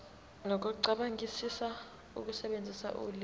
nokucabangisisa ukusebenzisa ulimi